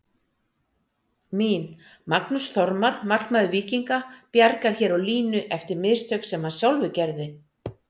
Mín: Magnús Þormar markmaður Víkinga bjargar hér á línu eftir mistök sem hann sjálfur gerði.